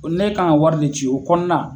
Ne kan ka wari de ci o kɔnɔna